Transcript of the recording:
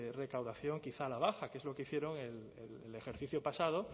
recaudación quizá a la baja que es lo que hicieron el ejercicio pasado